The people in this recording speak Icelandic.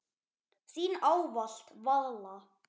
Þín ávallt, Vala.